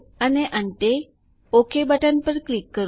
અને અંતે okay button પર ક્લિક કરો